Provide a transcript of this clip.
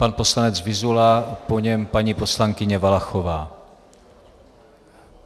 Pan poslanec Vyzula, po něm paní poslankyně Valachová.